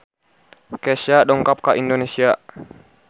Kesha dongkap ka Indonesia